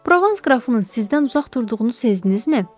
Provans qrafının sizdən uzaq durduğunu sezdinizmi?